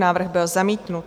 Návrh byl zamítnut.